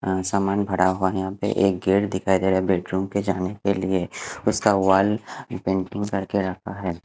अ सामान भरा हुआ है यहा पे एक गेट दिखाई देरा है बेडरूम के जाने के लिए उसका वाल पेंटिंग कर के रखा है।